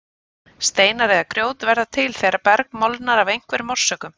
Steinar eða grjót verða til þegar berg molnar af einhverjum orsökum.